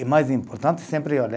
E mais importante sempre